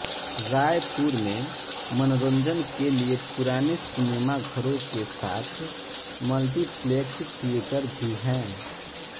रायपुर में मनोरंजन के लिए पुराने सिनेमाघरों के साथ मल्टीप्लेक्स थियेटर भी हैं